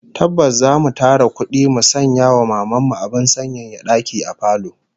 Tabbas zamu tara kudi mu sanya wa Maman mu abin sanyaya daki a falo